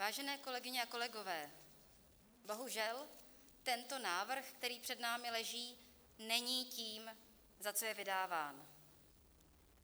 Vážené kolegyně a kolegové, bohužel tento návrh, který před námi leží, není tím, za co je vydáván.